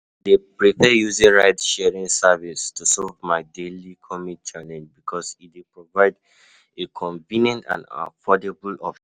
I dey prefer using ride-sharing services to solve my daily commute challenges because e dey provide a convenient and affordable option.